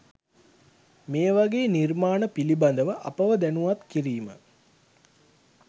මේවගේ නිර්මාණ පිළිබඳව අපව දැනුවත් කිරීම